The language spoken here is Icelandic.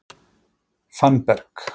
Fannberg